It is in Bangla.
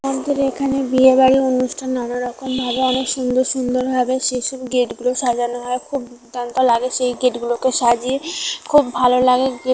আমাদের এখানে বিয়ে বাড়ি অনুষ্ঠান নানারকম ভাবে অনেক সুন্দর সুন্দর ভাবে সেইসব গেট -গুলো সাজানো হয় খুব দমকা লাগে এই গেট -গুলোকে সাজিয়ে খুব ভালো লাগে গে--